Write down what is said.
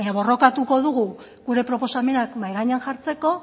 baina borrokatuko dugu gure proposamenak mahai gainean jartzeko